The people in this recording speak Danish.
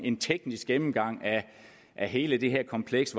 en teknisk gennemgang af hele det her kompleks